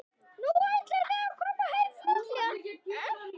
Nú, ætlið þið að koma heim fljótlega?